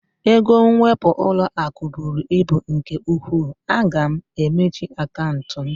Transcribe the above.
Ego nwepu ụlọaku bụrụ ibu nke ụkwụ, a ga m emechi akantị m